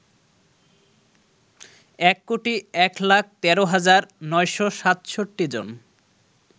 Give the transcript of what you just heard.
১ কোটি ১ লাখ ১৩ হাজার ৯৬৭ জন